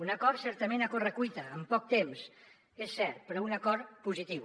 un acord certament a correcuita amb poc temps és cert però un acord positiu